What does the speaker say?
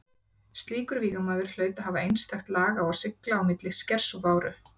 Slíkur vígamaður hlaut að hafa einstakt lag á að sigla á milli skers og báru.